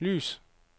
lys